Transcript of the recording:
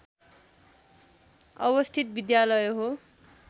अवस्थित विद्यालय हो